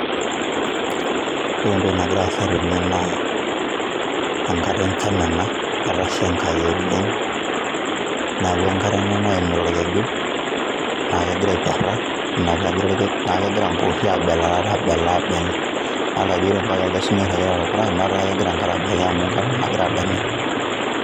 Ore entoki nagira aasa tene naa, engare enjan ena etasha Enkai oleng',neeku enkare ena naimita olkeju naa kegira aipera neeku kegira imboori aabela aabela idolita ajo ore ambaka ele sunyai oiragita to purra netaa kegira enkare abaiki amu kegira adanya.